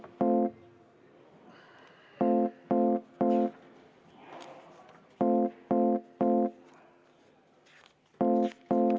V a h e a e g